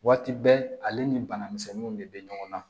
Waati bɛɛ ale ni banamisɛnninw de be ɲɔgɔn na